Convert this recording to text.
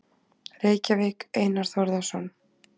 Reykjavík: Einar Þórðarson.